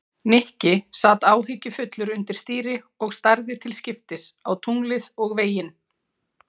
Nikki sat áhyggjufullur undir stýri og starði til skiptist á tunglið og veginn.